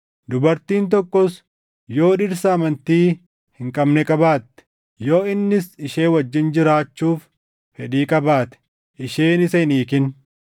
Dubartiin tokkos yoo dhirsa amantii hin qabne qabaatte, yoo innis ishee wajjin jiraachuuf fedhii qabaate, isheen isa hin hiikin.